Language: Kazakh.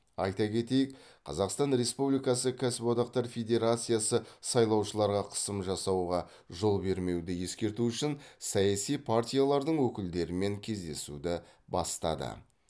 айта кетейік қазақстан республикасы кәсіподақтар федерациясы сайлаушыларға қысым жасауға жол бермеуді ескерту үшін саяси партиялардың өкілдерімен кездесуді бастады